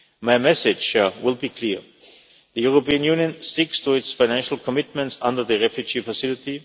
My message will be clear. The European Union sticks to its financial commitments under the refugee facility.